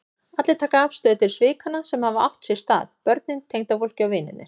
Allir taka afstöðu til svikanna sem hafa átt sér stað, börnin, tengdafólkið, vinirnir.